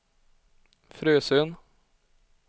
Frösön